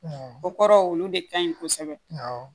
O kɔrɔ olu de ka ɲi kosɛbɛ awɔ